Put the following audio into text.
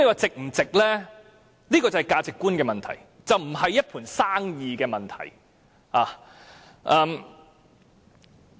這是價值觀的問題，而不是一盤生意的問題。